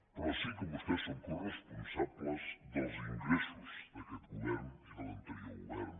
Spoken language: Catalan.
però sí que vostès són coresponsables dels ingressos d’aquest govern i de l’anterior govern